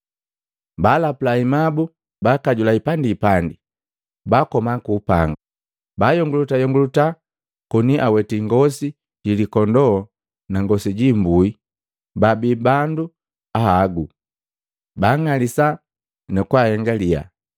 Baalapula imagu, baakajula ipandi ipandi, baakoma ku upanga. Bayongulutayonguluta koni aweti ngosi yi likondoo na ngosi ji imbui; babi bandu ahagu, baang'alisa na kwaahenge liyaa.